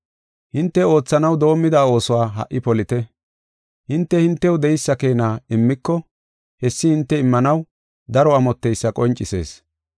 Hinte oothanaw doomida oosuwa ha77i polite. Hinte hintew de7eysa keena immiko, hessi hinte immanaw daro amotteysa qoncisees.